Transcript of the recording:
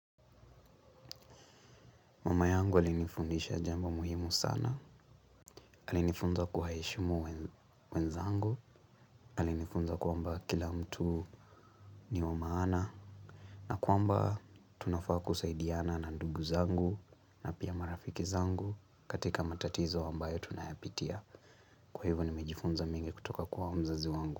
Mama yangu alinifundisha jambo muhimu sana alinifunza kuwaheshumu wenzangu, alinifunza kwamba kila mtu ni wa maana, na kwamba tunafaa kusaidiana na ndugu zangu, na pia marafiki zangu katika matatizo ambayo tunayapitia. Kwa hivyo nimejifunza mengi kutoka kuwa mzazi wangu.